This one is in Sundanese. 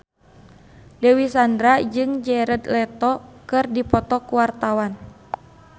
Dewi Sandra jeung Jared Leto keur dipoto ku wartawan